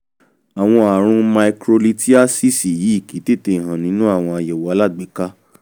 àwọn ààrùn microlithiasis yìí kìí tètè hàn nínú àyẹ̀wò alágbèéká